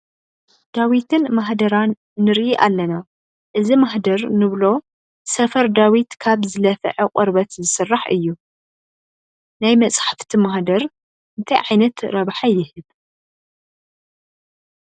ዳዊትን ማህደራን ንርኢ ኣለና፡፡ እዚ ማሕደር ንብሎ ሰፈር ዳዊት ካብ ዝለፍዐ ቆርበት ዝስራሕ እዩ፡፡ ናይ መፃሕፍቲ ማህደር እንታይ ዓይነት ረብሓ ይህብ?